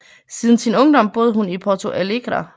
Siden sin ungdom boede hun i Porto Alegre